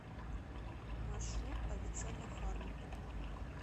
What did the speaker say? маршрут авиценна фарма